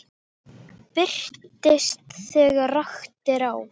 Birtist þegar rakt er á.